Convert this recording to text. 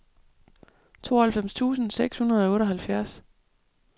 tooghalvfems tusind seks hundrede og otteoghalvfjerds